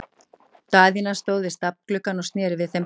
Daðína stóð við stafngluggann og sneri við þeim baki.